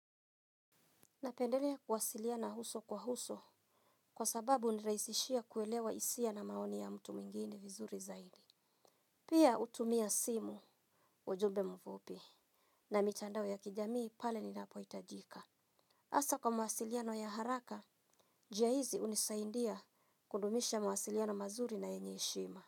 Napendelea kuwasiliana uso kwa uso kwa sababu hunirahisishia kuelewa hisia na maoni ya mtu mwingine vizuri zaidi. Pia hutumia simu, ujumbe mfupi na mtandao ya kijamii pale inapohitajika. Hasa kwa mwasiliano ya haraka, njia hizi hunisaidia kudumisha mwasiliano mazuri na yenye heshima.